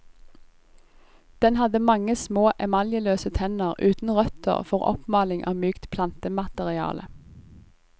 Den hadde mange små emaljeløse tenner uten røtter for oppmaling av mykt plantemateriale.